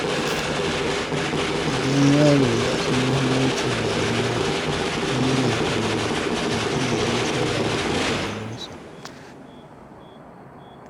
Idan yaro ya san muhimmancin rayuwa tun yana ƙarami, ta zai yi nasara a rayuwarsa.